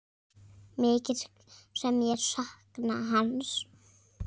Mikið sem ég sakna hans.